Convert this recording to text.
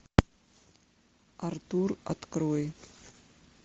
артур открой